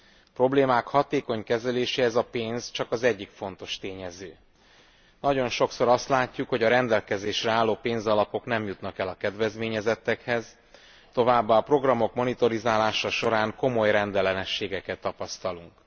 A problémák hatékony kezeléséhez a pénz csak az egyik fontos tényező nagyon sokszor azt látjuk, hogy a rendelkezésre álló pénzalapok nem jutnak el a kedvezményezettekhez, továbbá a programok monitoringja során komoly rendellenességeket tapasztalunk.